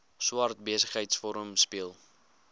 swart besigheidsforum speel